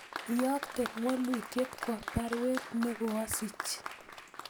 Yookte waluutyet kwo baruet negoasich